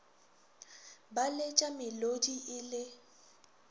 ba letša melodi e le